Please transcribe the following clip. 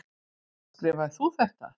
Skrifaðir þú þetta?